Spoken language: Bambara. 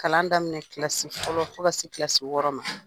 Kalan daminɛ kilasi fɔlɔ fo ka se kilasi wɔɔrɔ ma